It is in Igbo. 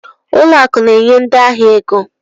Ụlọ akụ na-enye ndị ahịa ego